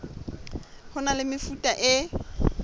ho na le mefuta e